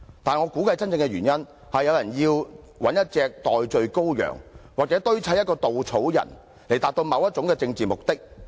但是，我估計真正的原因，是有人要找一隻代罪羔羊或堆砌一個稻草人，以達到某種政治目的。